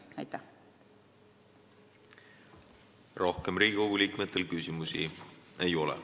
Rohkem Riigikogu liikmetel küsimusi ei ole.